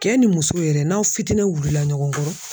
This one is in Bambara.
Cɛ ni muso yɛrɛ n'aw fitinɛn wulila ɲɔgɔn kɔrɔ